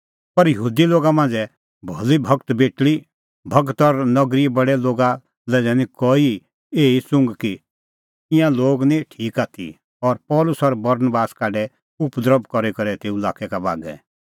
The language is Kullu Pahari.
पर यहूदी लोगा मांझ़ै भली भगत बेटल़ी भगत और नगरीए बडै लोगा लै दैनी कई एही च़ुघ कि ईंयां लोग निं ठीक आथी और पल़सी और बरनबास काढै उपद्रभ करी करै तेऊ लाक्कै का बागै